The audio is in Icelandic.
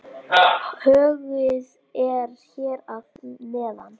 Höggið er hér að neðan.